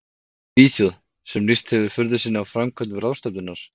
Svíþjóð, sem lýst hefðu furðu sinni á framkvæmd ráðstefnunnar.